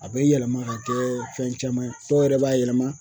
A bɛ yɛlɛma ka kɛ fɛn caman ye, dɔw yɛrɛ b'a yɛlɛma